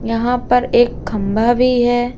यहां पर एक खंभा भी है।